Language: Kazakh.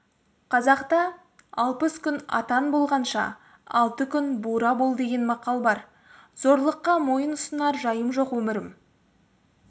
қазақта алпыс күн атан болғанша алты күн бура бол деген мақал бар зорлыққа мойын ұсынар жайым жоқ өмірім